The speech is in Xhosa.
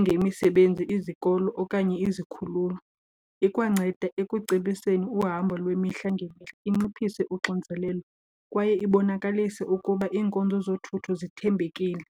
njengemisebenzi, izikolo okanye izikhululo. Ikwanceda ekucebiseni uhambo lwemihla ngemihla, inciphise uxinzelelo kwaye ibonakalise ukuba iinkonzo zothutho zithembekile.